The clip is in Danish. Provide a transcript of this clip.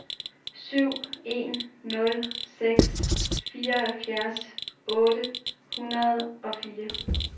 syv en nul seks fireoghalvfjerds otte hundrede og fire